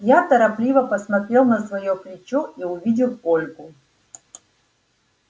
я торопливо посмотрел на своё плечо и увидел ольгу